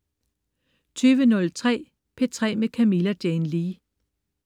20.03 P3 med Camilla Jane Lea